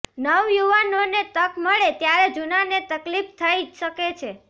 નવયુવાનોને તક મળે ત્યારે જુનાને તકલીફ થઈ શકે છે